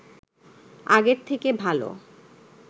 আগের থেকে ভালো